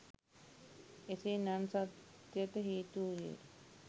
එසේ නන් සත්‍යට හේතු වූයේ